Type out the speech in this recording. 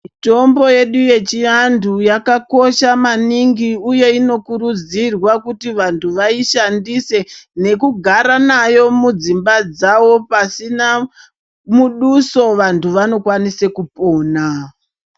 Mitombo yedu yechiantu yakakosha maningi uye inokurudzirwa kuti vantu vaishandise nekugara nayo mudzimba dzavo pasina muduso vantu vanokwanisa kupona.